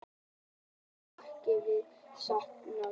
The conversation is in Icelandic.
Býst ekki við að sátt náist